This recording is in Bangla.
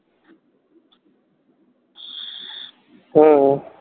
হ্যাঁ